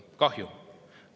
Kahju!